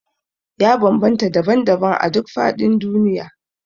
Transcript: Ya bambanta daban-daban a duk faɗin duniya